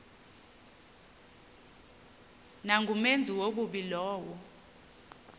nangumenzi wobubi lowo